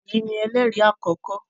Eyi ni ẹlẹri akọkọ.